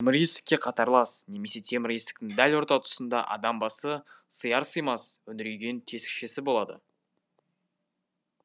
темір есікке қатарлас немесе темір есіктің дәл орта тұсында адам басы сыяр сыймас үңірейген тесікшесі болады